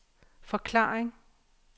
forklaring